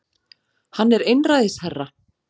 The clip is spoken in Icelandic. Hann er einræðisherra